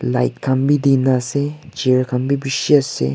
light khan bhi dee nah ase chair khan bhi bishi ase.